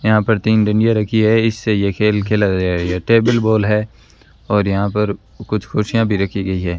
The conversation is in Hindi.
यहां पर तीन डांडिया रखी है इससे ये खेल खेला जाएगा टेबिल बोल है और यहां पर कुछ कुर्सियां भी राखी गई है।